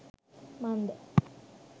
මන්ද